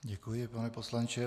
Děkuji, pane poslanče.